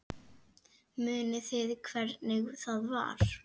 Munið þið hvernig það var?